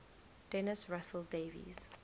dennis russell davies